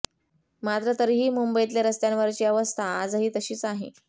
मात्र तरीही मुंबईतले रस्त्यांवरची अवस्था आजही तशीच आहे